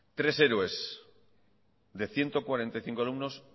tres héroes de ciento cuarenta y cinco alumnos